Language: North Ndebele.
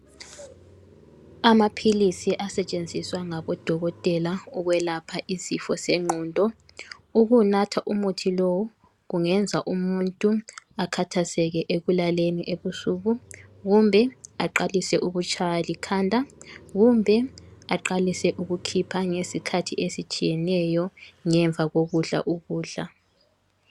Amaphilisi asetshenziswa ngabodokotela ukwelapha izifo zengqondo. Ukunatha umuthi lowu, kungenza umuntu akhathazeke ekulaleni ebusuku kumbe aqalise ukutshaywa likhanda. Kumbe aqalise ukukhipha ngezikhathi ezitshiyeneyo ngemva kokudla ukudla.